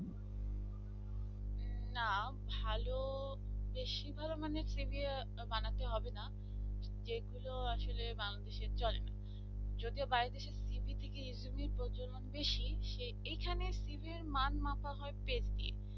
না ভালো বেশি ভালো মানে priviyar বানাতে হবে না যেগুলো আসলে বাংলাদেশের চলে না যদিও বাড়িতে সে cv থেকে interview বেশি সে এইখানে cv এর মান মাপা হয় page দিয়ে